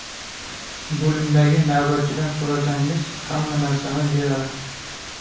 Bo‘limdagi navbatchidan so‘rasangiz, hamma narsani beradi.